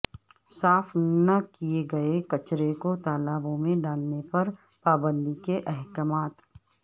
صاف نہ کئے گئے کچرے کو تالابوں میں ڈالنے پر پابندی کے احکامات